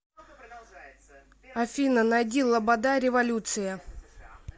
афина найди лобода революция